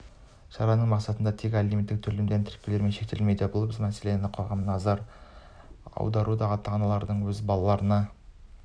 шараның мақсаты тек алименттік төлемдерді тәркілеумен шектелмейді біз бұл мәселеге қоғамның назарын аударуды ата-аналардың өз балаларына